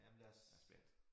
Jamen lad os